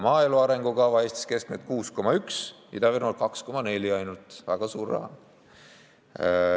Maaelu arengukava: Eestis keskmiselt 6,1%, Ida-Virumaal ainult 2,4%, see on väga suur raha.